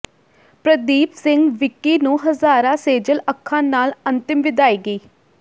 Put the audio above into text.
ਪ੍ਰਦੀਪ ਸਿੰਘ ਵਿੱਕੀ ਨੂੰ ਹਜ਼ਾਰਾਂ ਸੇਜਲ ਅੱਖਾਂ ਨਾਲ ਅੰਤਿਮ ਵਿਦਾਇਗੀ